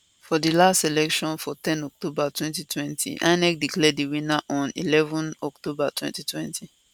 for di last election for ten october 2020 inec declare di winner on eleven october 2020